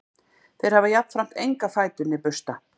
þeir hafa jafnframt enga fætur né bursta